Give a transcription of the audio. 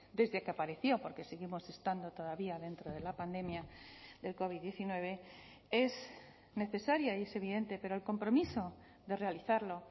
desde que apareció porque seguimos estando todavía dentro de la pandemia del covid diecinueve es necesaria y es evidente pero el compromiso de realizarlo